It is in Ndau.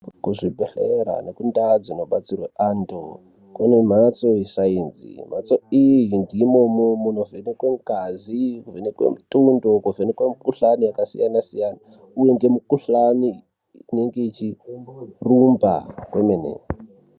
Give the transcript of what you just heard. Kuzvibhedhlera nekundau dzinobatsirwe antu kune mhatso yesaienzi mhatso iyi ndimomo munovhenekwe ngazi munovhenekwe mutundo kuvhenekwe mukuhlani yakasiyana siyana uye ngemukuhlani inenge ichirumba kwemene.